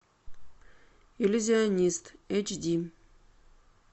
иллюзионист эйч ди